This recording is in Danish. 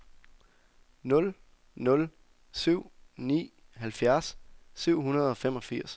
nul nul syv ni halvfjerds syv hundrede og femogfirs